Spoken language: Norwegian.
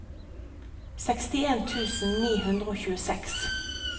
sekstien tusen ni hundre og tjueseks